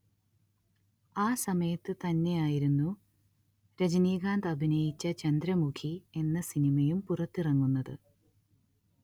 ആ സമയത്തു തന്നെയായിരുന്നു രജനീകാന്ത് അഭിനയിച്ച ചന്ദ്രമുഖി എന്ന സിനിമയും പുറത്തിറങ്ങുന്നത്